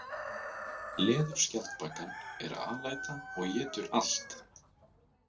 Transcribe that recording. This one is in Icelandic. Leðurskjaldbakan er alæta og étur allt.